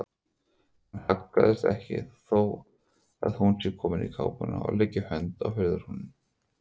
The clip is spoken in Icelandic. Hann haggast ekki þó að hún sé komin í kápuna og leggi hönd á hurðarhúninn.